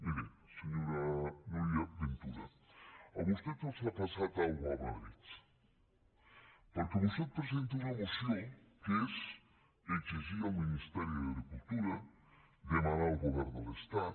miri senyora núria ventura a vostès els ha passat alguna cosa a madrid perquè vostè presenta una moció que és exigir al ministeri d’agricultura demanar al govern de l’estat